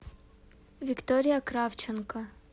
виктория кравченко